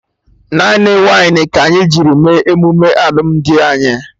Naanị wainị ka anyị jiri mee emume alụmdi anyị